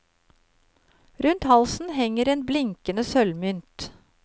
Rundt halsen henger en blinkende sølvmynt.